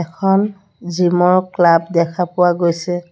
এখন জিম ৰ ক্লাব দেখা পোৱা গৈছে।